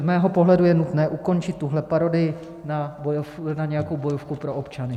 Z mého pohledu je nutné ukončit tuhle parodii na nějakou bojovku pro občany.